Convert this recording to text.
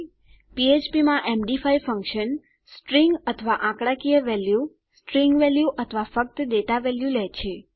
ફ્ફ્પ માં એમડી5 ફંક્શન સ્ટ્રીંગ અથવા આંકડાકીય વેલ્યુ સ્ટ્રીંગ વેલ્યુ અથવા ફક્ત ડેટા વેલ્યુ લે છે